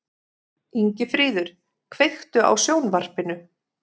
Ingifríður, kveiktu á sjónvarpinu.